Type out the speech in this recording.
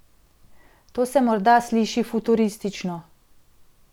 To se morda sliši futuristično.